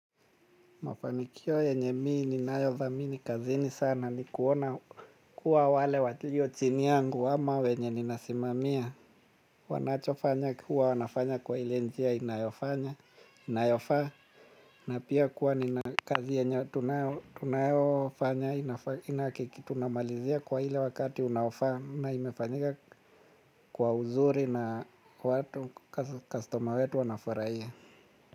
Mafanikio yenye mi ninayo dhamini kazini sana ni kuona kuwa wale walio chini yangu ama wenye ninasimamia. Wanacho fanya kuwa wanafanya kwa ile njia inayofanya inayofaa na pia kuwa nina kazi yenye tunayo fanya ina kiki tunamalizia kwa ile wakati unaofaa na imefanyika kwa uzuri na watu customer wetu wanafurahia.